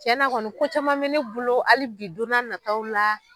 Cɛnna kɔni ko caman mɛ ne bolo hali bi don n'a nataw la